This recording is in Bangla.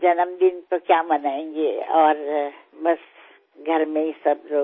জন্মদিন আর কি পালন করব এই পরিবারের সবার মধ্যেই থাকি